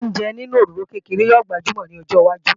Yíyan oúnjẹ nínú òróró kékeré ó gbajúmò ní ọjọwájú